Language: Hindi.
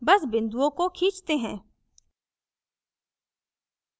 बस बिन्दुओं को खींचते हैं